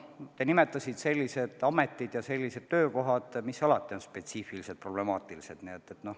Te nimetasite sellised ametid ja sellised töökohad, mis alati on spetsiifiliselt problemaatilised.